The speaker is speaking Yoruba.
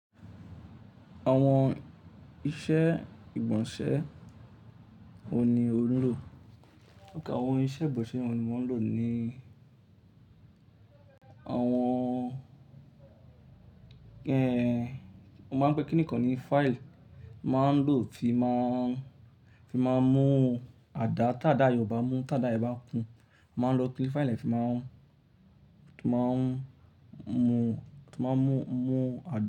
Àwọn iṣẹ́ ìgbọ̀nsẹ̀ wọ́n ni ó ń lò. Àwọn iṣẹ́ ìgbọ̀nsẹ̀ wọ́ ni mo n lò ni àwọn, ẹ, wọ́n máa ń pẹ́ kí nìkan ni file. Máa ń lò ti máa ń, ti n maa ń mú àdá, tádà yen o bá mú, tádà yen bá kú. Máa ń lo pín file ni a fi máa ń, ti máa ń mú, ti máa ń mú, mú àdá.